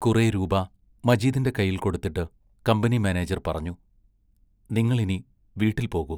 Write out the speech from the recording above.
കുറേ രൂപാ മജീദിന്റെ കൈയിൽ കൊടുത്തിട്ട് കമ്പനി മാനേജർ പറഞ്ഞു: നിങ്ങൾ ഇനി വീട്ടിൽ പോകൂ.